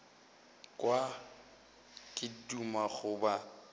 kwa ke duma go ba